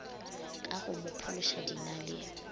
ka go mo phološa dinaleng